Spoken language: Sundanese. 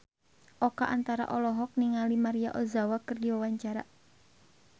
Oka Antara olohok ningali Maria Ozawa keur diwawancara